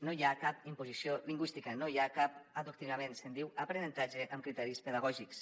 no hi ha cap imposició lingüística no hi ha cap adoctrinament se’n diu aprenentatge amb criteris pedagògics